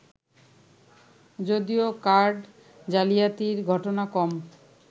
যদিও কার্ড জালিয়াতির ঘটনা কম